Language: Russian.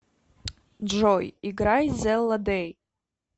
джой играй зэлла дэй